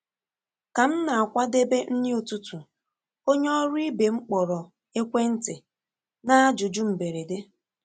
Ka m na-akwadebe nri ụtụtụ, onye ọrụ ibe m kpọrọ ekwentị na ajụjụ mberede.